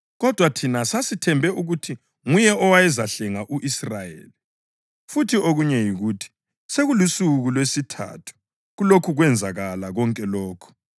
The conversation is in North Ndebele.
kodwa thina sasithembe ukuthi nguye owayezahlenga u-Israyeli. Futhi okunye yikuthi sekulusuku lwesithathu kulokhu kwenzakala konke lokhu.